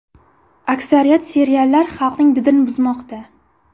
Aksariyat seriallar xalqning didini buzmoqda.